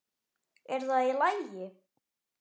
Er það í lagi?